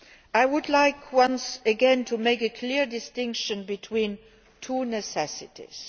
I would like once again to make a clear distinction between two necessities.